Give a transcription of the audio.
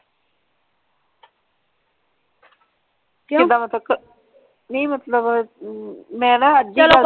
ਕਿਦਾਂ ਮਤਲਬ ਨਈ ਮਤਲਬ ਮੈਂ ਨਾ ਅੱਜ ਹੀ।